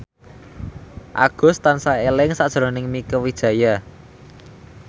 Agus tansah eling sakjroning Mieke Wijaya